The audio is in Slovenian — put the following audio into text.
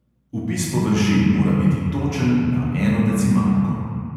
Vpis površin mora biti točen na eno decimalko.